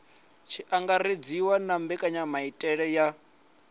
tshi angaredziwa na mbekanyamaitele ya